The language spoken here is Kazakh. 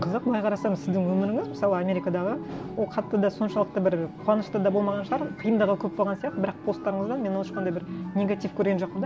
қызық былай қарасаңыз сіздің өміріңіз мысалы америкадағы ол қатты да соншалықты бір қуанышты да болмаған шығар қиындығы көп болған сияқты бірақ посттарыңыздан мен ол ешқандай бір негатив көрген жоқпын